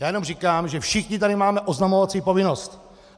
Já jenom říkám, že všichni tady máme oznamovací povinnost!